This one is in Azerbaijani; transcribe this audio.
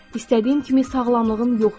İstədiyim kimi sağlamlığım yoxdur.